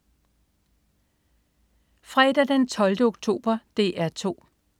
Fredag den 12. oktober - DR 2: